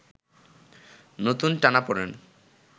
নতুন টানাপোড়েন